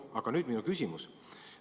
Aga nüüd minu küsimus.